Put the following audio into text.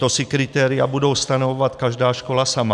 To si kritéria budou stanovovat každá škola sama?